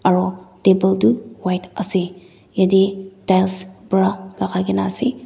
aru table tu white ase yate tiles pra lagai ke na ase.